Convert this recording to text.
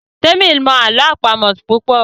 Temi mọ àlọ́ àpamọ̀ púpọ.